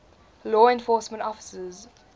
law enforcement officers